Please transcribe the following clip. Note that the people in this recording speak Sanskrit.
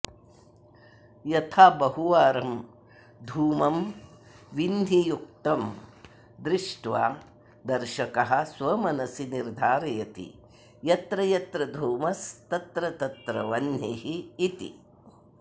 यथा बहुवारं धूमं विह्नियुक्तं दृष्ट्वा दर्शकः स्वमनसि निर्धारयति यत्र यत्र धूमस्तत्र तत्र वह्निरिति